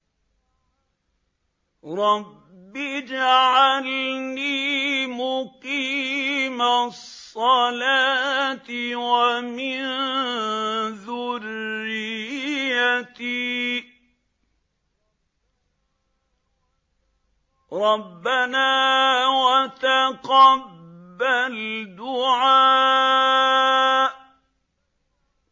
رَبِّ اجْعَلْنِي مُقِيمَ الصَّلَاةِ وَمِن ذُرِّيَّتِي ۚ رَبَّنَا وَتَقَبَّلْ دُعَاءِ